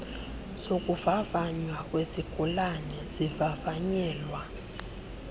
zokuvavanywa kwezigulane zivavanyelwa